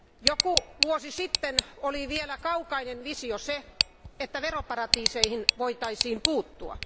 Joku vuosi sitten oli vielä kaukainen visio se, että veroparatiiseihin voitaisiin puuttua.